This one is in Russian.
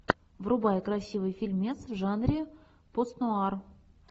врубай красивый фильмец в жанре постнуар